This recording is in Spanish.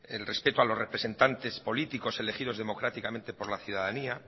el respeto a los representantes políticos elegidos democráticamente por la ciudadanía